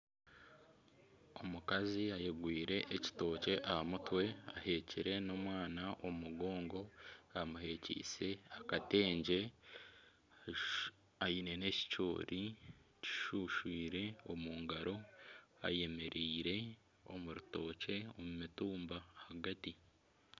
Omukazi ayegwire ekitookye aha mutwe ahekyire n'omwana omu mugongo amuhekyise akatengye aine na ekicoori kishushwire omungaro ayemereire omu rutookye omu mitumba ahagati.